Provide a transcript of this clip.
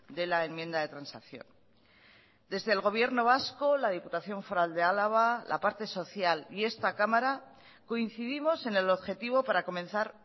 de la enmienda de transacción desde el gobierno vasco la diputación foral de álava la parte social y esta cámara coincidimos en el objetivo para comenzar